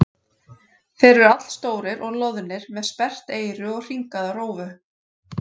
Þeir eru allstórir og loðnir með sperrt eyru og hringaða rófu.